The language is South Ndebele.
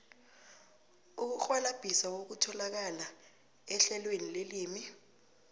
ukurhwalabhisa kutholakala ehlelweni lelimi